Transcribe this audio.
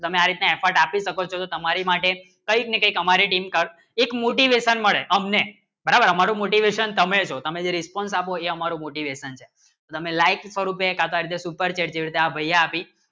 તમારે એટલે effort આપી શકો ચો તો તમારે માટે કઈ ને કી હમારે લિંક કર એક મળે હમને બરાબર હમારી મોટી વ્યસન તમે જો તમારો જે response આપો હે હમારે મૉટે lesson છે તમે like કરું જે આપી